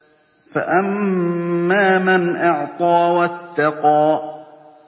فَأَمَّا مَنْ أَعْطَىٰ وَاتَّقَىٰ